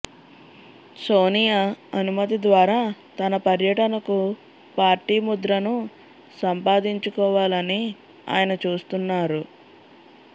సోనియా అనుమతి ద్వారా తన పర్యటనకు పార్టీ ముద్రను సంపాదించుకోవాలని ఆయన చూస్తున్నారు